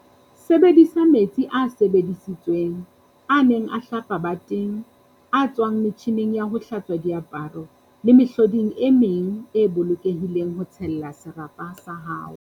Sebedisa "metsi a sebedisitsweng" a neng a hlapa bateng, a tswang metjhining ya ho hlatswa diaparo le mehloding e meng e bolokehileng ho tshella serapa sa hao.